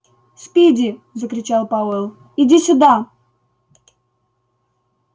спиди закричал пауэлл иди сюда